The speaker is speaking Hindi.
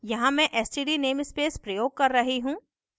यहाँ मैं std namespace प्रयोग कर रही हूँ